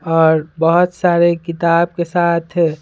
और बहुत सारे किताब के साथ --